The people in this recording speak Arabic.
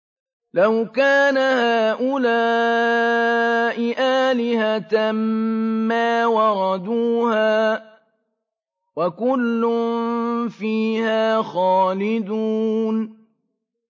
لَوْ كَانَ هَٰؤُلَاءِ آلِهَةً مَّا وَرَدُوهَا ۖ وَكُلٌّ فِيهَا خَالِدُونَ